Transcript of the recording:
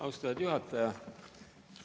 Austatud juhataja!